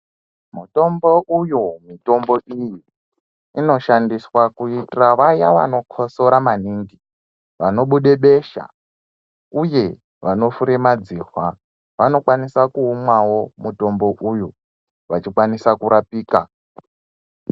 Mutombo uyo, mitombo iyi inoshandiswa kuitira vaya vanokosora maningi, vanobude besha uye vanofure madzihwa vanokwanisa kuumwa mutombo uyu vachikwanisa kurapika.